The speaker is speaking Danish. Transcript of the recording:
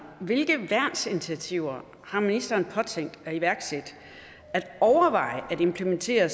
hvilke værnsinitiativer har ministeren påtænkt at iværksætte og implementere